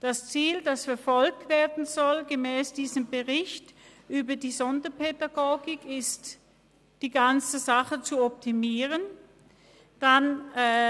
Das Ziel, die ganze Sache zu optimieren, soll gemäss diesem Bericht über die Sonderpädagogik verfolgt werden.